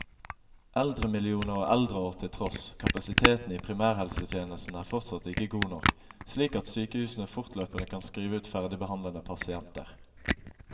Eldremillioner og eldreår til tross, kapasiteten i primærhelsetjenesten er fortsatt ikke god nok, slik at sykehusene fortløpende kan skrive ut ferdigbehandlede pasienter.